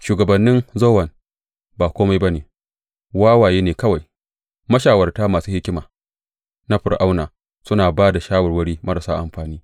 Shugabannin Zowan ba kome ba ne, wawaye ke kawai; mashawarta masu hikima na Fir’auna suna ba da shawarwari marasa amfani.